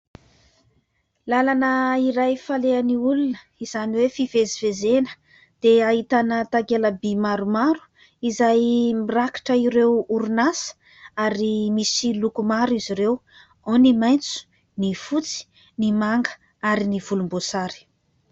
Lalana iray falehan'ny olona, izany hoe fivezivezena dia ahitana takela- by maromaro izay mirakitra ireo orinasa. Ary misy loko maro izy ireo : ao ny maitso, ny fotsy ny manga ary ny volom-boasary